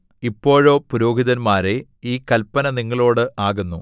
ഇപ്പോഴോ പുരോഹിതന്മാരേ ഈ കല്പന നിങ്ങളോട് ആകുന്നു